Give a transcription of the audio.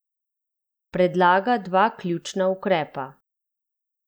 Predlaga dva ključna ukrepa.